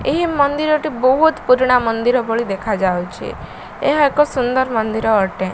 ଏହି ମନ୍ଦିର ଟି ବହୁତ ପୁରୁଣା ମନ୍ଦିର ଭଳି ଦେଖାଯାଉଛି। ଏହା ଏକ ସୁନ୍ଦର ମନ୍ଦିର ଅଟେ।